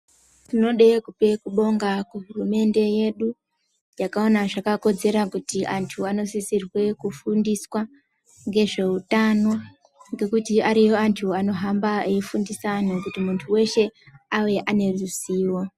Tinoda kubonga hurumende yedu yakaona zvakakodzera kuti antu anosisirwe kufundiswa nezvehutano ngekuti ariyo antu angohamba eifundisa antu kuti weshe auye ane ruzivo.